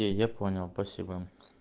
я понял спасибо